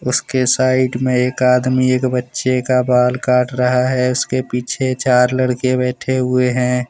इसके साइड में एक आदमी एक बच्चे का बाल काट रहा है उसके पीछे चार लड़के बैठे हुए हैं।